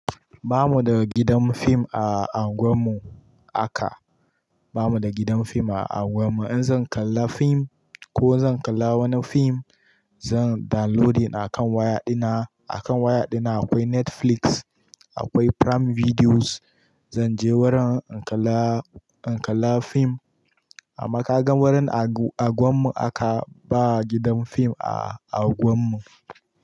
Ba mu da gidan fim a anguwar mu aka, ba mu da gidan fim a anguwar mu. In zan kalla fim ko zan kalla wani fim, zan downloading akan waya dina. Akan waya dina akwai Netflix, akwai Prime Videos. Zanje wurin in kalla, in kalla fim amma ka gan wurin a anguwar mu aka ba gidan fim a anguwar mu.